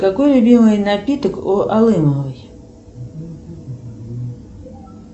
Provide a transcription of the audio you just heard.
какой любимый напиток у алымовой